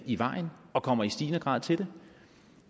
i vejen og kommer i stigende grad til det